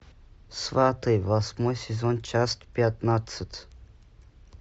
сваты восьмой сезон часть пятнадцать